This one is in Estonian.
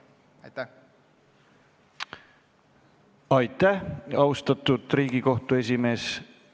Aitäh, austatud Riigikohtu esimees!